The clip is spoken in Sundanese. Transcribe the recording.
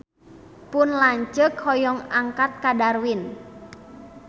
Pun lanceuk hoyong angkat ka Darwin